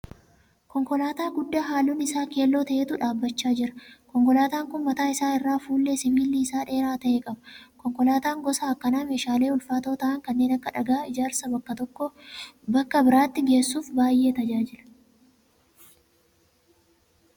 Konkolaataa guddaa halluun isaa keelloo ta'etu dhaabbachaa jira. Konkolaataa kun mataa isaa irraa fuullee sibiilli isaa dheeraa ta'e qaba. Konkolaataan gosa akkanaa meeshaalee ulfaatoo ta'aan kanneen akka dhagaa ijaarsaa bakka tokko bakka biraatti geessuuf baay'ee tajaajila.